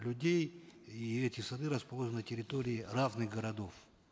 людей и эти сады расположены на территории равных городов